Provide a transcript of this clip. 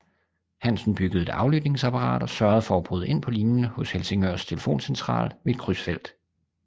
Hansen byggede et aflytningsapparat og sørgede for at bryde ind på linjen hos Helsingørs telefoncentral ved et krydsfelt